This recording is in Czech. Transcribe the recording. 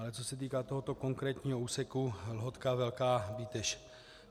Ale co se týká tohoto konkrétního úseku Lhotka - Velká Bíteš.